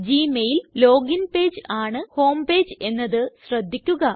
Gmail login page ആണ് homepage എന്നത് ശ്രദ്ധിക്കുക